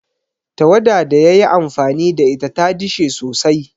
Tawada da ya yi amfani da ita ta dishe sosai.